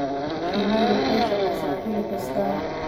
Shinnidu waxay shaqeysaa xilli kasta.